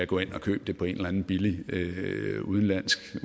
går hen og køber det på en eller anden billig udenlandsk